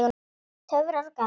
Töfrar og galdur.